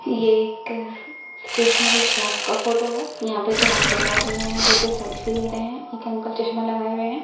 ये एक stationery shop का फोटो है। यहाँ पे दो अंकल बैठे हुए हैं जोकि सेल्फी ले रहे हैं एक अंकल चश्मा लगाये हुए हैं।